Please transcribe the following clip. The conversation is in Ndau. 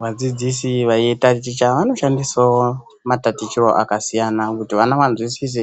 Vadzidzisi veitaticha vanoshandisawo matatichiroo akasiyana kuti vana vanzwisise